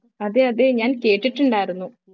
അതെ അതെ ഞാൻ കേട്ടിട്ടുണ്ടായിരുന്നു